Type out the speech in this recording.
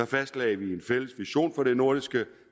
fastlagde en fælles vision for det nordiske